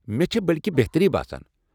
مےٚ چھےٚ بلکہٕ بہتٔری باسان۔